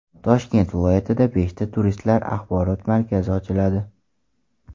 Toshkent viloyatida beshta turistlar axborot markazi ochiladi.